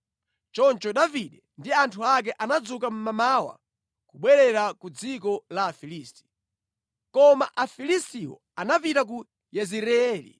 Choncho Davide ndi anthu ake anadzuka mmamawa kubwerera ku dziko la Afilisti. Koma Afilistiwo anapita ku Yezireeli.